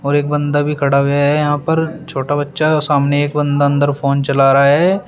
और एक बंदा भी खड़ा हुआ है यहां पर छोटा बच्चा सामने एक बंदा अंदर फोन चला रहा है।